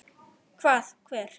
Hvað, hver?